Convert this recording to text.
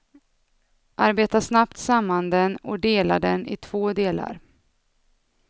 Arbeta snabbt samman den och dela den i två delar.